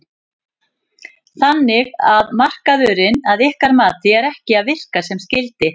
Þannig að markaðurinn að ykkar mati er ekki að virka sem skyldi?